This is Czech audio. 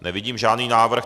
Nevidím žádný návrh.